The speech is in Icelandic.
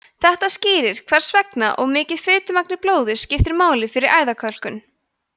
þetta skýrir hvers vegna of mikið fitumagn í blóði skiptir máli fyrir æðakölkun